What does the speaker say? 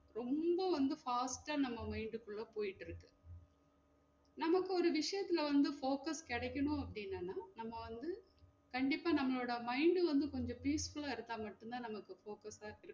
ரொம்ப வந்து fast ஆ நம்ம mind குள்ள உள்ள போய்ட்டு இருக்கு நமக்கு ஒரு விஷியத்துல வந்து focus கெடைக்கணும் அப்டின்னா நம்ம வந்து கண்டிப்பா நம்மளோட mind வந்து கொஞ்சம் peaceful இருக்கா மட்டும் தான் நம்ம இப்ப focus லா